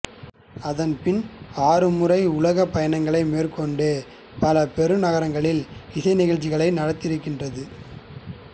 அதன் பின் ஆறுமுறை உலகப் பயணங்களை மேற்கொண்டு பல பெருநகரங்களில் இசை நிழச்சியை நடத்தியிருக்கின்றது